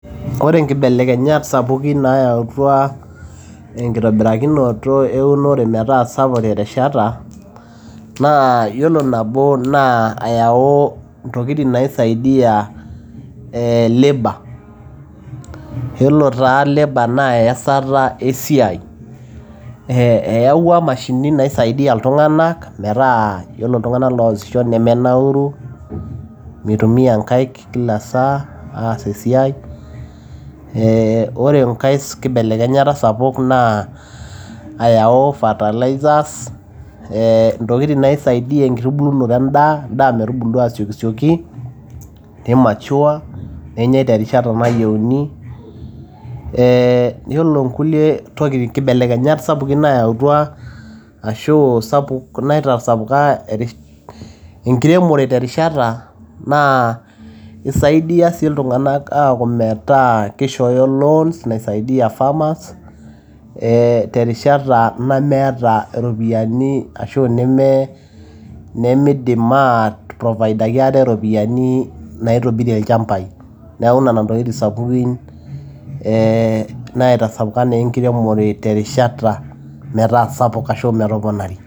ore inkibelekenyat sapukin naayautua enkitobirakinoto eunore metaa sapuk terishata, naa yiolo nabo naa ayau intokitin naisaidia ee labour yiolo taa labour naa eyasata esiai, ee eyawua imashinini naisaidia iltung'anak metaa yiolo iltung'anak loosisho nemenauru mitumia inkaik kila saa aas esiai ee ore enkay kibelekenyata sapuk naa ayau fertilizers ee intokitin naisaidia enkitubulunoto endaa, endaa metubulu asiokisioki ni mature nenyai terishata nayieuni ee yiolo nkulie tokitin kibelekenyat sapukin naayautua ashu sapuk naitasapuka enkiremore terishata naa isaidia sii iltung'anak aaku metaa kishooyo loans naisaidia farmers ee terishata nemeeta iropiyiani ashu neme nemiidim aiprovaidaki aate iropiyiani naitobirie ilchambai neeku nena intokitin sapukin ee naitasapuka naa enkiremore terishata metaa sapuk ashu metoponari.